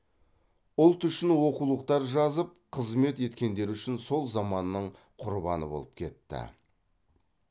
ұлт үшін оқулықтар жазып қызмет еткендері үшін сол заманның құрбаны болып кетті